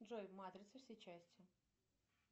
джой матрица все части